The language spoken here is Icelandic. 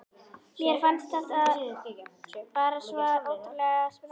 Mér fannst þetta bara svo ótrúlega spennandi.